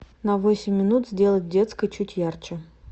на восемь минут сделать в детской чуть ярче